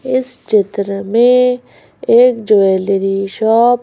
इस चित्र में एक ज्वेलरी शॉप --